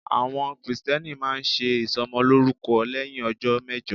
Àwọn Kristẹni máa ń ṣe ìsọmọlórúkọ lẹ́hìn ọjọ́ mẹ́jọ.